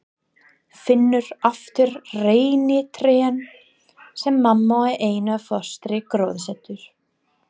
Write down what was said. Finnur aftur reynitrén sem mamma og Einar fóstri gróðursettu.